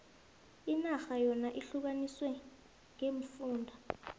inarha yona ihlukaniswe ngeemfunda